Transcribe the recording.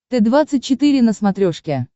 т двадцать четыре на смотрешке